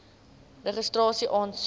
registrasieaansoek